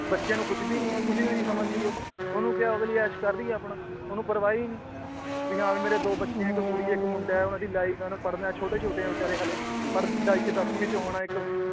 ਬੱਚਿਆਂ ਨੂੰ ਪੁੱਛਦੀ ਨੀ ਉਹ ਕੁਛ ਵੀ ਨੀ ਸਮਝਦੀ ਉਹ ਓਹਨੂੰ ਕਯਾ ਉਹ ਅਗਲੀ ਐਸ਼ ਕਰਦੀ ਏ ਆਪਣਾ ਓਹਨੂੰ ਪਰਵਾਹ ਈ ਨੀ ਵੀ ਹਾਂ ਵੀ ਮੇਰੇ ਦੋ ਬੱਚੇ ਏ ਇੱਕ ਕੁੜੀ ਇਕ ਮੁੰਡਾ ਏ ਉਹਨਾਂ ਦੀ life ਏ ਉਹਨਾਂ ਪੜ੍ਹਨਾ ਏ ਛੋਟੇ ਛੋਟੇ ਏ ਉਹ ਹੱਲੇ ਬੇਚਾਰੇ ਪੜ੍ਹ ਦਾ ਇਕ ਦੱਸਵੀਂ ਚ ਹੋਣਾ ਇਕ